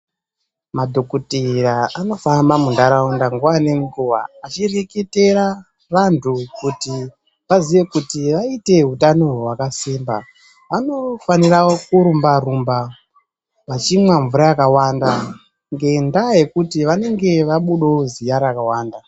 Madhokoteya anofamba mundaraunda nguva nenguva achireketera vantu kuti vaziye kuti vaite utano hwakasimba vanofanira kurumba-rumba, vachimwa mvura yakawanda ngendaa yekuti vanenge vabudavo ziya rakawanda.